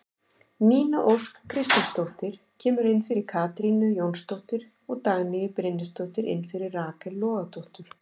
Nína Ósk Kristinsdóttir kemur inn fyrir Katrínu Jónsdóttur og Dagný Brynjarsdóttir inn fyrir Rakel Logadóttur.